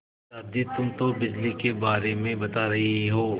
पर दादी तुम तो बिजली के बारे में बता रही हो